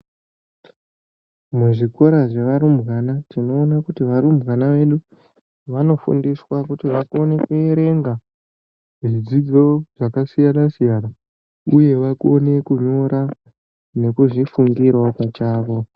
Muzvikora zvevarumbwana, tinoona kuti varumbwana vedu, vanofundiswa kuti vakone kuerenga zvidzidzo zvakasiyana-siyana, uye vakone kunyora nekuzvifundirawo, pachavo.